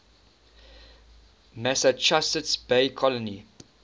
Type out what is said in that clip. massachusetts bay colony